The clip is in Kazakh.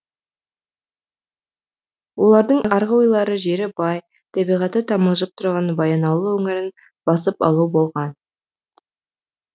олардың арғы ойлары жері бай табиғаты тамылжып тұрған баянауыл өңірін басып алу болған